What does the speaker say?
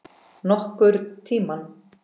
Nokkurn tímann.